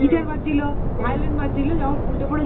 guitar বাজছিল, violin বাজছিল, যাও উল্টে পরে